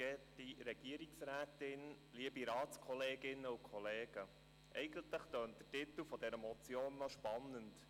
Eigentlich tönt der Titel dieser Motion spannend: